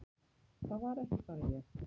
Það var ekki bara ég.